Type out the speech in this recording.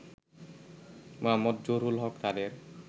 মো. জহুরুল হক তাদের